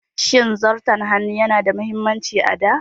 Shin Zarton hannu yana da mahimmanci a da?